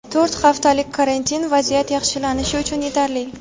to‘rt haftalik karantin vaziyat yaxshilanishi uchun yetarli.